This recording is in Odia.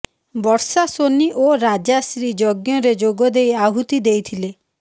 ବର୍ଷାସୋନୀ ଓ ରାଜାଶ୍ରୀ ଯଜ୍ଞରେ ଯୋଗ ଦେଇ ଆହୂତି ଦେଇଥିଲେ